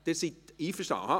– Sie sind einverstanden?